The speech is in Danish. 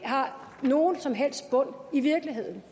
har nogen som helst bund i virkeligheden